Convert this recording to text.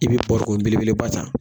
I bi barikon belebeleba ta